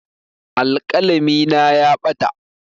Alƙalami na ya ɓata.